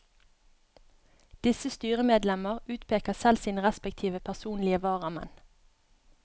Disse styremedlemmer utpeker selv sine respektive personlige varamenn.